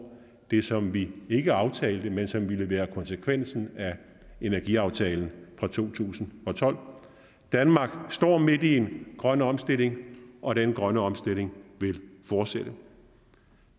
det som vi ikke aftalte men som ville være konsekvensen af energiaftalen fra to tusind og tolv danmark står midt i en grøn omstilling og den grønne omstilling vil fortsætte